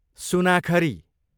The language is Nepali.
सुनाखरी